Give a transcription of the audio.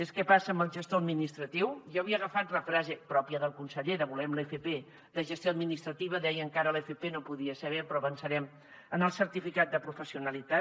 què passa amb el gestor administratiu jo havia agafat la frase pròpia del conseller de volem l’fp de gestió administrativa deien que ara l’fp no podia ser però avançarem en el certificat de professionalitat